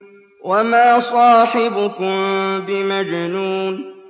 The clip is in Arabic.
وَمَا صَاحِبُكُم بِمَجْنُونٍ